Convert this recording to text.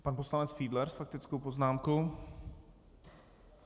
Pan poslanec Fiedler s faktickou poznámkou.